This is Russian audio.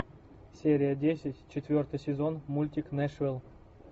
серия десять четвертый сезон мультик нэшвилл